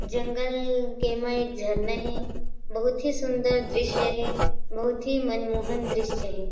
जंगल के म एक झरना हे बहुत ही सुंदर दृस्य हे बहुत ही मनमोहन दृस्य हे।